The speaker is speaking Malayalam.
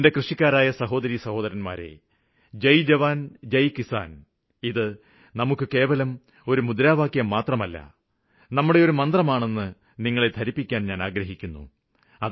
എന്റെ കൃഷിക്കാരായ സഹോദരിസഹോദരന്മാരെ ജയ് ജവാന് ജയ് കിസാന് ഇത് നമുക്ക് കേവലം ഒരു മുദ്രാവാക്യം മാത്രമല്ല നമ്മുടെ ഒരു മന്ത്രമാണെന്ന് നിങ്ങളെ ധരിപ്പിക്കാന് ഞാന് ആഗ്രഹിക്കുന്നു